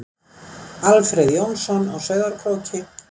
Alfreð Jónsson á Sauðárkróki